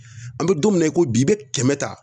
An bɛ don min na i ko bi i bɛ kɛmɛ ta